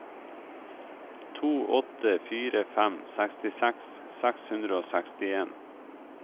to åtte fire fem sekstiseks seks hundre og sekstien